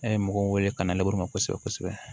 A ye mɔgɔw wele ka na ma kosɛbɛ kosɛbɛ